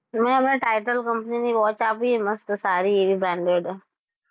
મે હમણાં titan company ની watch આપી મસ્ત સારી એવી branded છે.